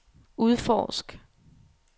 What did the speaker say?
udforsk